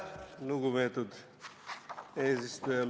Lugupeetud eesistuja!